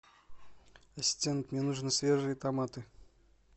ассистент мне нужны свежие томаты